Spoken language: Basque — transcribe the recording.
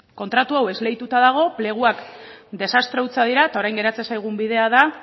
kontratu hau esleituta dago pleguak desastre hutsak dira eta orain geratzen zaigun bidea da